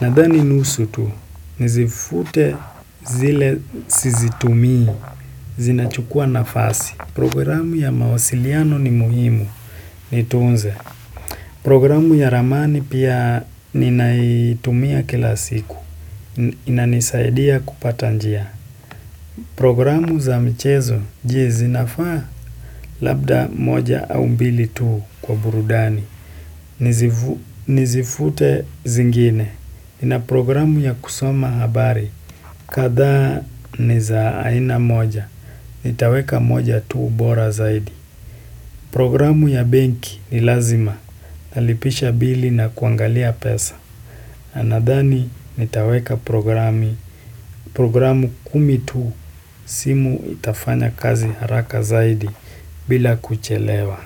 nadhani nusu tu, nizifute zile sizitumii, zinachukua nafasi. Programu ya mawasiliano ni muhimu, niitunze. Programu ya ramani pia ninaitumia kila siku, inanisaidia kupata njia. Programu za michezo, je, zinafaa labda moja au mbili tu. Kwa burudani. Nizifute zingine. Nina programu ya kusoma habari. Kadhaa niza aina moja. Nitaweka moja tu bora zaidi. Programu ya benki ni lazima. Nalipisha bili na kuangalia pesa. Nadhani nitaweka programu kumi tu simu itafanya kazi haraka zaidi bila kuchelewa.